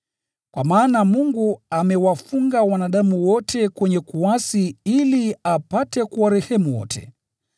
Kwa maana Mungu amewafunga wanadamu wote kwenye kuasi ili apate kuwarehemu wote.